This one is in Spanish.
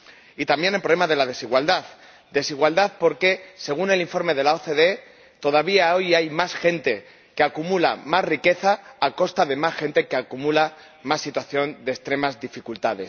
Y también el problema de la desigualdad porque, según el informe de la OCDE, todavía hoy hay más gente que acumula más riqueza a costa de más gente que acumula más situaciones de extrema dificultad.